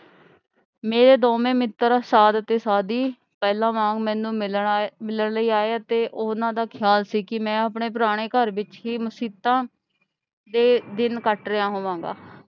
ਮੇਰੇ ਦੋਵੇਂ ਮਿੱਤਰ ਸਾਧ ਤੇ ਸਾਧੀ ਪਹਿਲਾਂ ਵਾਂਗ ਮੈਨੂੰ ਮਿਲਣ ਆਏ ਮਿਲਣ ਲਈ ਆਏ ਅਤੇ ਉਹਨਾ ਦਾ ਖ਼ਿਆਲ ਸੀ ਕਿ ਮੈਂ ਆਪਣੇ ਪੁਰਾਣੇ ਘਰ ਵਿਚ ਹੀ ਮੁਸੀਬਤਾਂ ਦੇ ਦਿਨ ਕੱਟ ਰਿਹਾ ਹੋਵਾਂਗਾ।